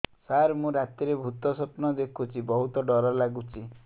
ସାର ମୁ ରାତିରେ ଭୁତ ସ୍ୱପ୍ନ ଦେଖୁଚି ବହୁତ ଡର ଲାଗୁଚି